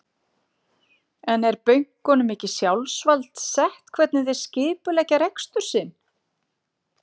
En er bönkunum ekki sjálfsvald sett hvernig þeir skipuleggja rekstur sinn?